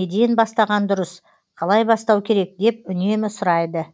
неден бастаған дұрыс қалай бастау керек деп үнемі сұрайды